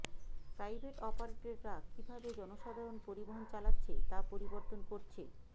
private অপারেটররা কিভাবে জনসাধারণ পরিবহন চালাচ্ছে তা পরিবর্তন করছে